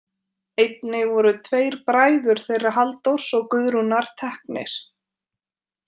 Einnig voru tveir bræður þeirra Halldórs og Guðrúnar teknir.